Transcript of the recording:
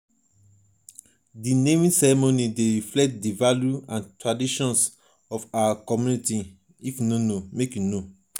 di naming custom dey reflect di values and traditions of our our community.